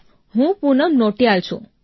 સાહેબ હું પૂનમ નોટિયાલ છું